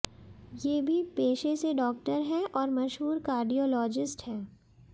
ये भी पेशे से डॉक्टर हैं और मशहूर कार्डियोलॉजिस्ट हैं